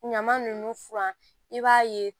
Ɲama nunnu furan i b'a ye